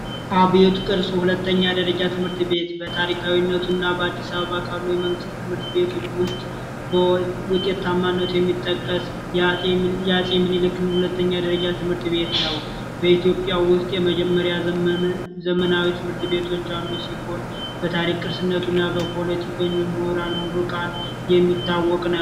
አቢወት ቅርስ ሁለተኛ ደረጃ ትምህርት ቤት በታሪካዊነት እና በአዲስ አበባ ከሚገኙ ትምህርት ቤቶች ውስጥ የአፄ ምኒልክን ሁለተኛ ደረጃ ትምህርት ቤት ነው በኢትዮጵያ ውስጥ የመጀመሪያ ዘመን ዘመናዊ ትምህርት ቤቶች ይሆን በታሪክ ቅርስነቱ በፖለቲከኞች ምሁራን ተመራቂዎች የሚታወቅ ነው።